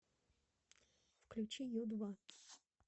включи ю два